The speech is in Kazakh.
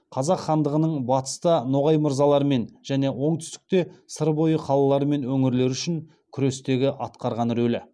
қазақ хандығының батыста ноғай мырзаларымен және оңтүстікте сыр бойы қалалары мен өңірлері үшін күрестегі атқарған рөлі